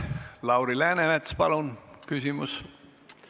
Lauri Läänemets, palun küsimus!